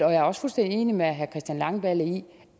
er også fuldstændig enig med herre christian langballe i